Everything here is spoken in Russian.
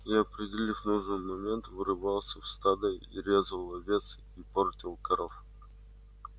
и определив нужный момент врывался в стадо и резал овец и портил коров